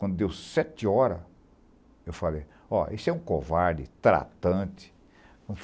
Quando deu sete horas, eu falei, ó, esse é um covarde, tratante.